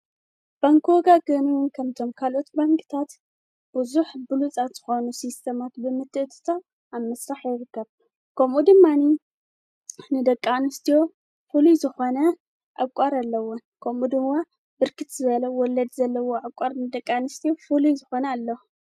በንኪ ወጋገን ከምቶም ካልኦት ባንክታት ብዙኅ ብሉፃት ትኾኑ ሲስተማት ብምትእትታው ኣብ ምስራሕ የርከብ ። ኮምኡ ድማኒ ንደቂ ኣንስትዮ ፍሉይ ዝኾነ ዕቋር ኣለዎ። ከምኡ ድምዋ ብርክት ዝበለ ወለድ ዘለዎ ኣቋር ንደቃንስቲ ፍልይ ዝኾነ ኣለዎ።